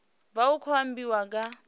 vha hu khou ambiwa nga